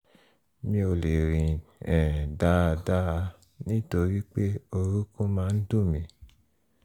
mi ò le rìn um dáadáa nítorí pé orókún máa ń dùn mí